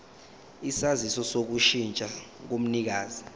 isaziso sokushintsha komnikazi